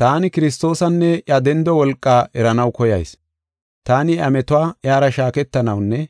Taani Kiristoosanne iya dendo wolqaa eranaw koyayis. Taani iya metuwa iyara shaaketanawunne